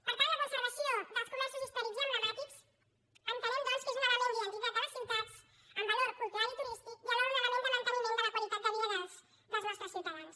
per tant la conservació dels comerços històrics i emblemàtics entenem doncs que és un element d’identitat de les ciutats amb valor cultural i turístic i alhora un element de manteniment de la qualitat de vida dels nostres ciutadans